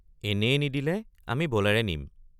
এনেয়ে নিদিলে আমি বলেৰে নিম।